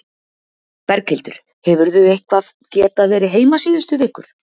Berghildur: Hefurðu eitthvað geta verið heima síðustu vikur?